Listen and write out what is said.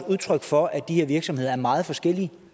udtryk for at de her virksomheder er meget forskellige